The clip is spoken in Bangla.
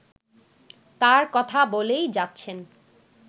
তাঁর কথা বলেই যাচ্ছেন